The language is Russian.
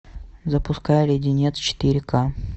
запускай леденец четыре ка